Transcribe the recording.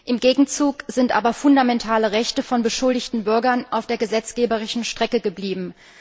Im Gegenzug sind aber fundamentale Rechte von beschuldigten Bürgern auf der gesetzgeberischen Strecke geblieben.